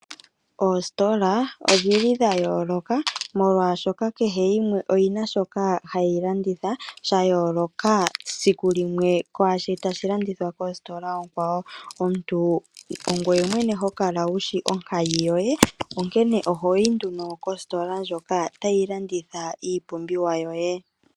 Oositola odhili dha yooloka, molwaashoka kehe yimwe oyina shoka hayi landitha,, sha yooloka sikulimwe kwaashi tashi landithwa koositola oonkwawo. Omuntu ongoye mwene hokala wushi onkayi yoye, onkene ohoyi nduno kositola ndjoka tayi landitha iipumbiwa yoye.